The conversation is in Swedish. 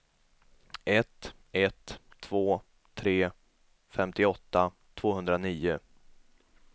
ett ett två tre femtioåtta tvåhundranio